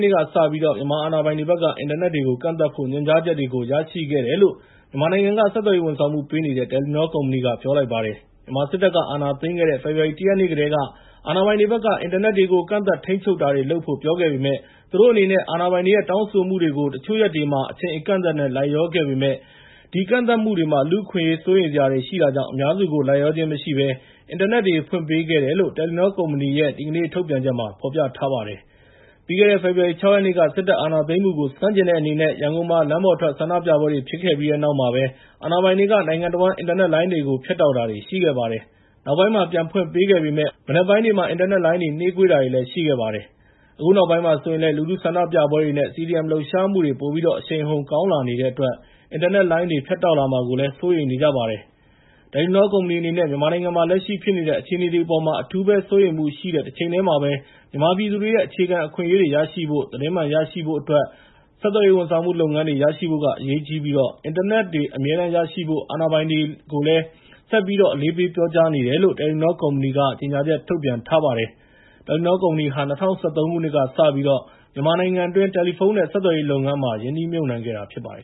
နေ့ကစပြီး မြန်မာအာဏာပိုင်တွေဘက်က အင်တာနက်တွေကို ကန့်သတ်ဖို့ ညွှန်ကြားချက်တွေကို ရရှိခဲ့တယ်လို့ မြန်မာနိုင်ငံက ဆက်သွယ်ရေးဝန်ဆောင်မှုပေးနေတဲ့ Telenor ကုမ္ပဏီက ပြောလိုက်ပါတယ်။ မြန်မာစစ်တပ်က အာဏာသိမ်းခဲ့တဲ့ ဖေဖော်ဝါရီ ၁ ရက်နေ့ကတည်းက အာဏာပိုင်တွေဘက်က အင်တာနက်တွေကို ကန့်သတ်ထိန်းချုပ်တာတွေလုပ်ဖို့ ပြောခဲ့ပေမဲ့ သူတို့အနေနဲ့အာဏာပိုင်တွေရဲ့ တောင်းဆိုမှုတွေကို လိုက်လျောလုပ်ဆောင်တာတွေရှိခဲ့ပေမဲ့ ဒီကန့်သတ်မှုတွေမှာ လူ့အခွင့်အရေးအရစိုးရိမ်စရာရှိတာကြောင့် တတ်နိုင်သမျှအင်တာနက်တွေ ဖွင့်ပေးခဲ့တယ်လို့ တယ်လီနောကုမ္ပဏီရဲ့ ဒီကနေ့ ထုတ်ပြန်ချက်မှာဖော်ပြထားပါတယ်။ ပြီးခဲ့တဲ့ ဖေဖော်ဝါရီ ၆ ရက်နေ့က စစ်တပ်က အာဏာသိမ်းမှုကို ဆန့်ကျင်တဲ့အနေနဲ့ ရန်ကုန်မှာ လမ်းပေါ်ထွက် ဆန္ဒပြပွဲတွေဖြစ်ပေါ်ခဲ့ပြီးတဲ့နောက်မှာပဲ အာဏာပိုင်တွေက နိုင်ငံတဝန်း အင်တာနက်လိုင်းတွေကို ဖြတ်တောက်တာတွေရှိခဲ့ပါတယ်။ နောက်ပိုင်းမှာ ပြန်ဖွင့်ပေးခဲ့ပေမဲ့ မနက်ပိုင်းတွေမှာ အင်တာနက်လိုင်းတွေနှေးကွေးတာတွေ ရှိခဲ့ပါတယ်။ အခုနောက်ပိုင်းမှာဆိုရင်လည်း လူထုဆန္ဒပြပွဲတွေနဲ့ CDM လှုပ်ရှားမှုတွေ ပိုပြီးတော့ အရှိန်အဟုန် အားကောင်းလာနေတဲ့အတွက် အင်တာနက်လိုင်းတွေ ဖြတ်တောက်လာမှာကို စိုးရိမ်နေကြပါတယ်။ တယ်လီနော ကုမ္ပဏီအနေနဲ့ မြန်မာနိုင်ငံမှာ လက်ရှိဖြစ်နေတဲ့ အခြေအနေတွေအပေါ်မှာ အထူးပဲ စိုးရိမ်မှုရှိတဲ့တချိန်တည်းမှာပဲ မြန်မာပြည်သူတွေရဲ့ အခြေခံအခွင့်အရေးတွေ ရရှိဖို့နဲ့ သတင်းမှန်ရရှိဖို့အတွက် ဆက်သွယ်ရေး ဝန်ဆောင်မှုလုပ်ငန်းတွေ ရရှိဖို့က အရေးကြီးပြီး အင်တာနက်တွေအမြဲတမ်းရရှိဖို့ အာဏာပိုင်တွေကိုလည်း ဆက်ပြီးတော့ အလေးပေးပြောကြားနေတယ်လို့ တယ်လီနောကုမ္ပဏီက ကြေငြာချက်ထုတ်ပြန်ထားပါတယ်။ တယ်လီနော ကုမ္ပဏီဟာ ၂၀၁၃ ခုနှစ်ကစပြီး မြန်မာနိုင်ငံတွင်း တယ်လီဖုန်းနဲ့ဆက်သွယ်ရေးလုပ်ငန်းမှာ ရင်းနှီးမြှုပ်နှံခဲ့တာဖြစ်ပါတယ်